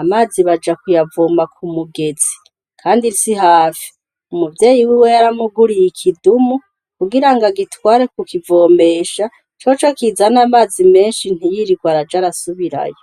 amazi baja kuyavoma ku mugezi; kandi si hafi; umuvyeyi wiwe yaramuguriye ikidumu, kugirango agitware kukivomesha, coco kizana amazi menshi ntiyirirwe araja arasubirayo.